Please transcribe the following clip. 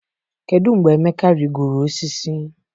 kedu mgbe Emeka rigoro osisi?